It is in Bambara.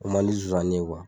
Ko man di zonzanni ye